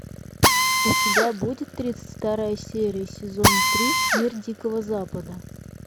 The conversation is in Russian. у тебя будет тридцать вторая серия сезон три мир дикого запада